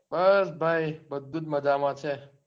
બસ ભાઈ બધું જ મજામાં છે.